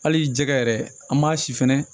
Hali jɛgɛ yɛrɛ an m'a si fɛnɛ